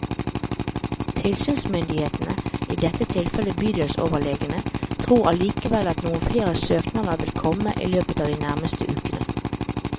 Tilsynsmyndighetene, i dette tilfellet bydelsoverlegene, tror allikevel at noen flere søknader vil komme i løpet av de nærmeste ukene.